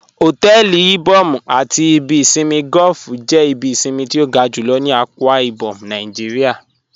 Hotẹẹli Ìbòm̀ àti ìbì ìṣinmí golf jẹ́ ìbí ìṣinmí tí o ga júlọ̀ ní Akwa Ibom Naijíríà